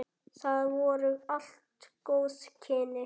Það voru allt góð kynni.